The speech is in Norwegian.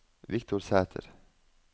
Viktor Sæter